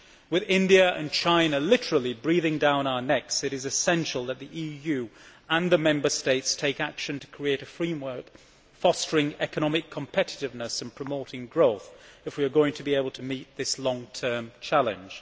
With India and China literally breathing down our necks, it is essential that the EU and the Member States take action to create a framework fostering economic competitiveness and promoting growth if we are going to be able to meet this long term challenge.